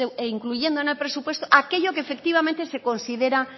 incluyendo en el presupuesto aquello que efectivamente se considera